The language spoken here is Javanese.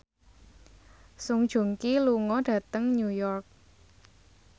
Song Joong Ki lunga dhateng New York